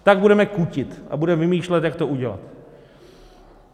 Tak budeme kutit a budeme vymýšlet, jak to udělat.